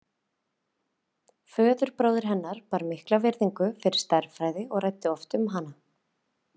Föðurbróðir hennar bar mikla virðingu fyrir stærðfræði og ræddi oft um hana.